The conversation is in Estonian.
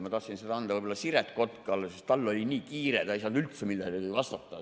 Ma tahtsin selle anda võib-olla Siret Kotkale, sest tal oli nii kiire, ta ei saanud üldse millelegi vastata.